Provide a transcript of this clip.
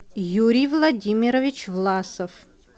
юрий владимирович власов